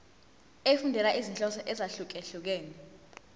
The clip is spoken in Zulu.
efundela izinhloso ezahlukehlukene